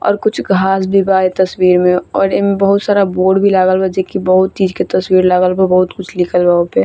और कुछ घास भी बा ये तस्वीर मे और एमे बहुत सारा बोर्ड भी लागल बा जे की बहुत चीज के तस्वीर लागल बा बहुत कुछ लिखल बा ओपे |